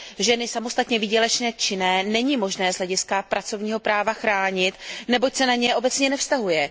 Ženy samostatně výdělečně činné není možné z hlediska pracovního práva chránit, neboť se na ně obecně nevztahuje.